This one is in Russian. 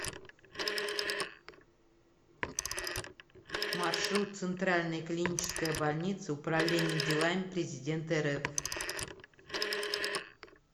маршрут центральная клиническая больница управления делами президента рф